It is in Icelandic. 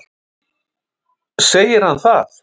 Segir hann það?